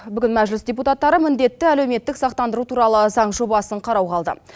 бүгін мәжіліс депутаттары міндетті әлеуметтік сақтандыру туралы заң жобасын қарауға алды